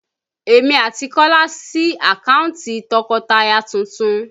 Èmi àti Kola sí àkántì tọkọtaya tuntun